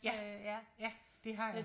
Ja ja det har jeg